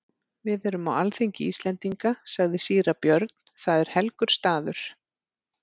Við erum á alþingi Íslendinga, sagði síra Björn,-það er helgur staður.